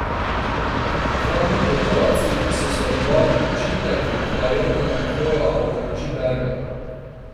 Dva dni po operaciji so svetovani počitek, hlajenje, hoja ob pomoči bergel.